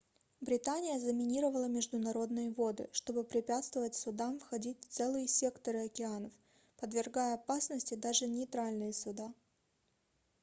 британия заминировала международные воды чтобы препятствовать судам входить в целые секторы океанов подвергая опасности даже нейтральные суда